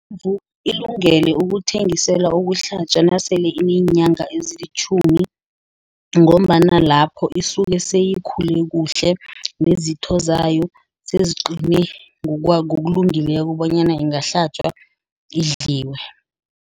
Ilungele ukuthengiselwa ukuhlatjwa nasele ineenyanga ezilitjhumi ngombana lapho isuke seyikhule kuhle. Nezitho zayo seziqine ngokulungileko bonyana ingahlatjwa, idliwe.